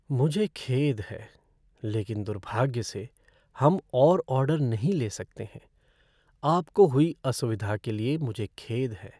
मुझे खेद है, लेकिन दुर्भाग्य से, हम और ऑर्डर नहीं ले सकते हैं। आपको हुई असुविधा के लिए मुझे खेद है।